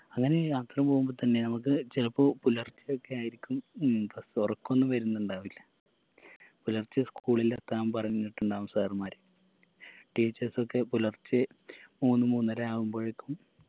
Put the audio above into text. അങ്ങനെ യാത്ര പോവുമ്പോ തന്നെ നമുക്ക് ചിലപ്പോ പുലർച്ചെ ഒക്കെയായിരിക്കും ഉം പ്പോ ഒറക്കൊന്നും വരിന്നുണ്ടാവില്ല പുലർച്ചെ school ളിൽ എത്താൻ പറഞ്ഞിട്ടുണ്ടാവും sir മാര് teachers ഒക്കെ പുലർച്ചെ മൂന്ന് മൂന്നരയാവുമ്പഴേക്കും